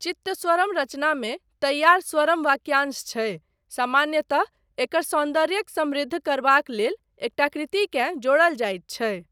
चित्तस्वरम रचनामे तैयार स्वरम वाक्यांश छै, सामान्यतः, एकर सौन्दर्यक समृद्ध करबाक लेल एकटा कृतिकेँ जोड़ल जाइत छै।